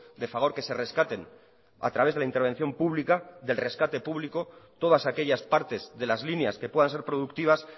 de fagor que se rescaten a través de la intervención pública del rescate público todas aquellas partes de las líneas que puedan ser productivas